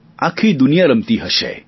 આખી દુનિયા રમતી હશે